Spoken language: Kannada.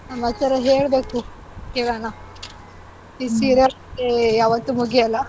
ಸಮಾಚಾರ ಹೇಳ್ಬೇಕು ಕೇಳೋಣ serial ಕಥೆ ಯಾವತ್ತು ಮುಗಿಯೋಲ್ಲ.